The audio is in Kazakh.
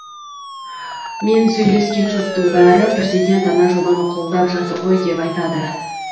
мен сөйлескен жұрттың бәрі президент ана жобаны қолдап жатыр ғой деп айтады